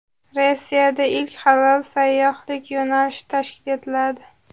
Rossiyada ilk halol sayyohlik yo‘nalishi tashkil etiladi.